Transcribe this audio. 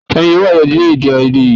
Tani yóò wá yanjú èdèàìyedè yìí